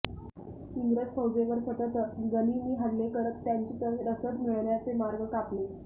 इंग्रज फौजेवर सतत गनिमी हल्ले करत त्यांची रसद मिळण्याचे मार्ग कापले